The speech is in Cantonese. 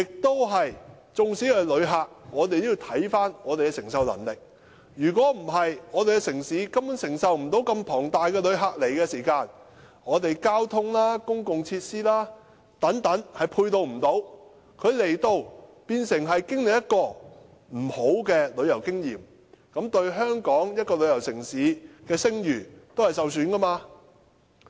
對於旅客，我們也要考慮我們的承受能力；否則，我們的城市根本承受不到龐大的旅客量，我們的交通、公共設施等都不能配套，只會令旅客有不愉快的旅遊經驗，也會令香港這個旅遊城市的聲譽受損。